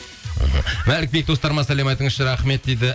мхм мәлік сәлем айтыңызшы рахмет дейді